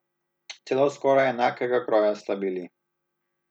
Celo skoraj enakega kroja sta bili.